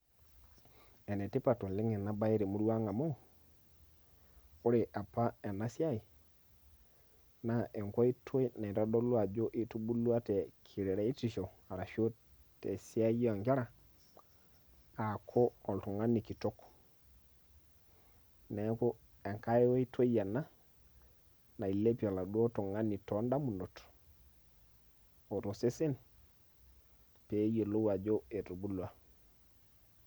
enetipat oleng ena bae temurua ang' amu ore apa ena siai, naa enkoitoi naitodolu ajo itubulua te keraisho ashu tesiai oo nkera, aaku oltungani kitok, neeku engae oitoi ena nailepie olauo tungani too damunot o tosesen pee eyioloi ajo etubulua.